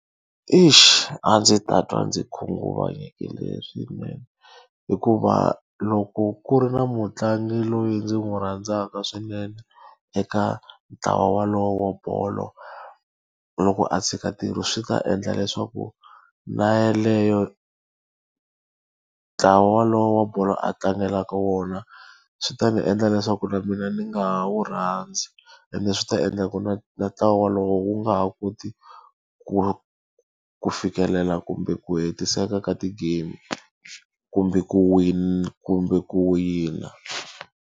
A ndzi ta twa ndzi khunguvanyekile swinene. Hikuva loko ku ri na mutlangi loyi ndzi n'wi rhandzaka swinene eka ntlawa wolowo wa bolo, loko a tshika ntirho swi ta endla leswaku na yeleyo ntlawa walowo wa bolo a tlangelaka wona, swi ta ni endla leswaku na mina ni nga wu rhandzi. Ene swi ta endla ku na na ntlawa wolowo wu nga ha koti ku ku fikelela kumbe ku hetiseka ka ti-game. Kumbe ku kumbe ku wina.